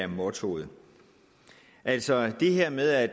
motto altså det her med at